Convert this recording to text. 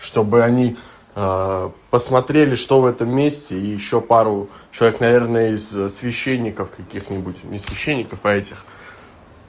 чтобы они посмотрели что в этом месте и ещё пару человек наверное из священников каких-нибудь не священников а этих